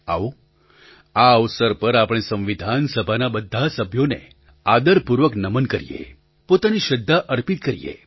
આવો આ અવસર પર આપણે સંવિધાન સભાના બધા સભ્યોને આદરપૂર્વક નમન કરીએ પોતાની શ્રદ્ધા અર્પિત કરીએ